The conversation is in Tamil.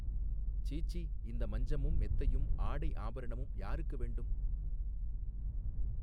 சீச்சீ இந்த மஞ்சமும் மெத்தையும் ஆடை ஆபரணமும் யாருக்கு வேண்டும்.